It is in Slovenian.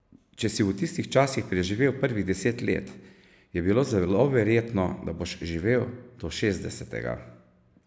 Če si v tistih časih preživel prvih deset let, je bilo zelo verjetno, da boš živel do šestdesetega ...